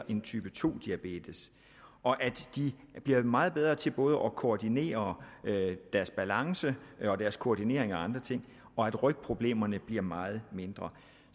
en type to diabetes og de bliver meget bedre til både at koordinere deres balance og deres koordinering af andre ting og rygproblemerne bliver meget mindre